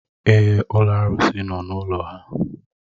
Èé, ụlọ arụsị nọ n'ụlọ ha.